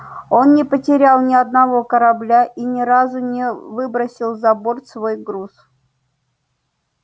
он не потерял ни одного корабля и ни разу не выбросил за борт свой груз